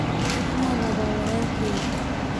waxaan rabaa wiilkayga